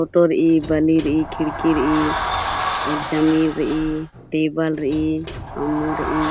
फोटो रई बलि रई खिड़की रई अउर जमीन रई टेबल रई अम्मू रई ।